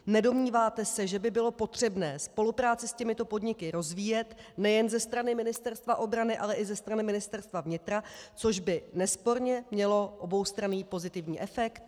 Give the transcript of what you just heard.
Nedomníváte se, že by bylo potřebné spolupráci s těmito podniky rozvíjet nejen ze strany Ministerstva obrany, ale i ze strany Ministerstva vnitra, což by nesporně mělo oboustranný pozitivní efekt?